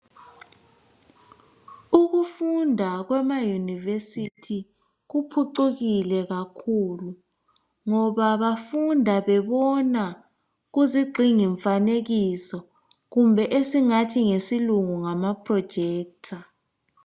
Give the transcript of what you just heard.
Ukufunda kwema University kuphucukile kakhulu. Ngoba bafunda bebona kuzigxingi mfanekiso kumbe esingathi ngeSilungu ngama projector